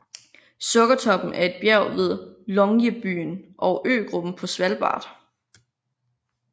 Sukkertoppen er et bjerg ved Longyearbyen på øgruppen Svalbard